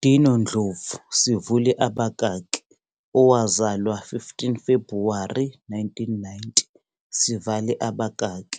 Dino Ndlovu, owazalwa 15 Febhuwari 1990,